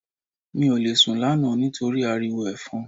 Mi ò lè sùn lánàá nítorí ariwo Ẹ̀fọn